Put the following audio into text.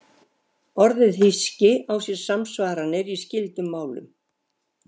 Orðið hyski á sér samsvaranir í skyldum málum.